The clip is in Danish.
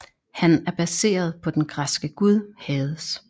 Han er baseret på den græske gud Hades